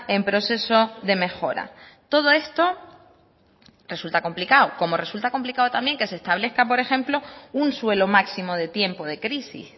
en proceso de mejora todo esto resulta complicado como resulta complicado también que se establezca por ejemplo un suelo máximo de tiempo de crisis